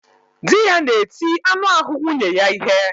Dị ya na-eti anụ ahụ nwunye ya ihe